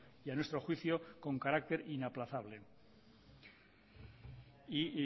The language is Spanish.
y a nuestro juicio con carácter inaplazable y